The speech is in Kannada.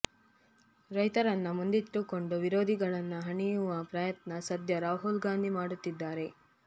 ರೈತರನ್ನ ಮುಂದಿಟ್ಟುಕೊಂಡು ವಿರೋಧಿಗಳನ್ನ ಹಣಿಯುವ ಪ್ರಯತ್ನ ಸಧ್ಯ ರಾಹುಲ್ ಗಾಂಧಿ ಮಾಡುತ್ತಿದ್ದಾರೆ